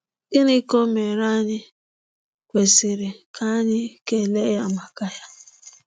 Gịnị ka omere anyi kwesịrị ka anyi kele ya maka ya?